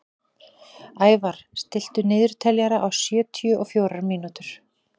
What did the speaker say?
Ævarr, stilltu niðurteljara á sjötíu og fjórar mínútur.